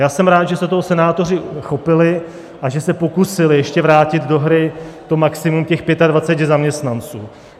Já jsem rád, že se toho senátoři chopili a že se pokusili ještě vrátit do hry to maximum těch 25 zaměstnanců.